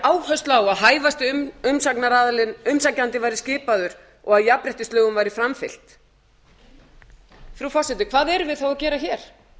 áherslu á að hæfasti umsækjandinn væri skipaður og að jafnréttislögum væri framfylgt frú forseti hvað erum við þá að gera hér